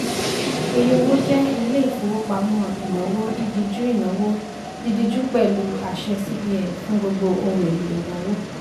eyowo jẹ́ ilé ìfowópamọ́ ìnáwó dídíjú ìnáwó dídíjú pẹ̀lụ àṣẹ cbn fún gbogbo ohun èlò ìnáwó.